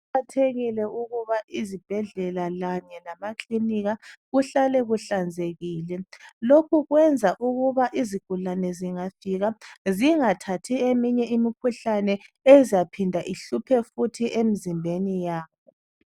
Kuqakathekile ukuba izibhedlela kanye lamakilinika kuhlale kuhlanzekile. Lokhu kwenza ukuba izigulane zingafika zingathathi eminye imikhuhlane ezaphinda ihluphe futhi emzimbeni yabo.